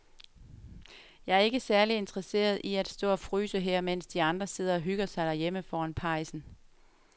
Jeg er ikke særlig interesseret i at stå og fryse her, mens de andre sidder og hygger sig derhjemme foran pejsen.